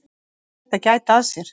Hann ætti að gæta að sér.